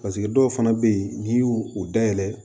dɔw fana bɛ yen n'i y'u u dayɛlɛ